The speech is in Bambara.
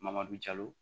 Mamadu jalo